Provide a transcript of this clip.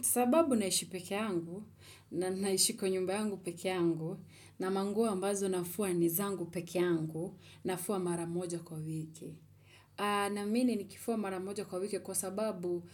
Sababu naishi peke yangu, na naishi kwa nyumba yangu peke yangu, na manguo ambazo nafua ni zangu peke yangu, nafua mara moja kwa wiki. Naamini nikifua mara moja kwa wiki kwa sababu